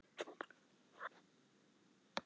Þannig vinnum við þetta.